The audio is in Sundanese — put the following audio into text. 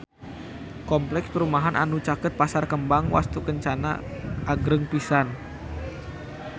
Kompleks perumahan anu caket Pasar Kembang Wastukencana agreng pisan